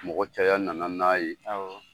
Mɔgɔ caya nana n'a ye. Awɔ.